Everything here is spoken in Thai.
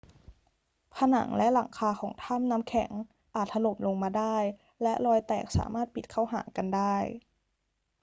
ผนังและหลังคาของถ้ำน้ำแข็งอาจถล่มลงมาได้และรอยแตกสามารถปิดเข้าหากันได้